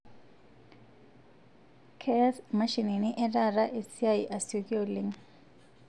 Keyas imashini etaata esiai asiokii oleng